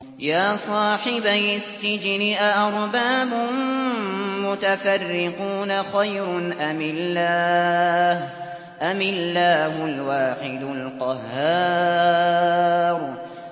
يَا صَاحِبَيِ السِّجْنِ أَأَرْبَابٌ مُّتَفَرِّقُونَ خَيْرٌ أَمِ اللَّهُ الْوَاحِدُ الْقَهَّارُ